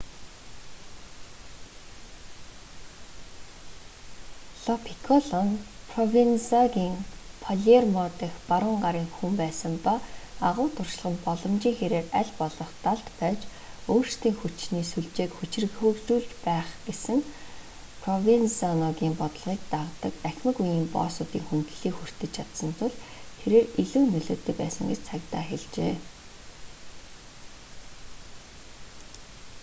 ло пикколо нь провензаногийн палермо дахь баруун гарын хүн байсан ба агуу туршлага нь боломжийн хэрээр аль болох далд байж өөрсдийн хүчний сүлжээг хүчирхэгжүүлж байх гэсэн провензаногийн бодлогыг дагадаг ахимаг үеийн боссуудын хүндлэлийг хүртэж чадсан тул тэрээр илүү нөлөөтэй байсан гэж цагдаа хэлжээ